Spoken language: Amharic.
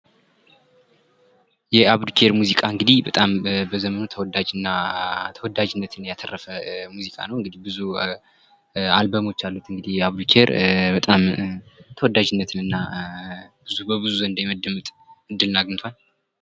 የአብዱኪያር ሙዚቃ እንግዲህ በጣም በዘመኑ ተወዳጅ እና ተወዳጅነትን ያተረፈ ሙዚቃ ነዉ። ብዙ አልበሞች አሉት የአብዱኪያር በጣም ተወዳጅነትን እና በብዙ ዘንድ ተደማጭነትን እድሉን አግኝቷል።